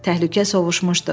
Təhlükə sovuşmuşdu.